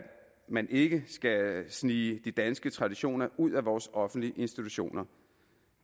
man ikke skal snige de danske traditioner ud af vores offentlige institutioner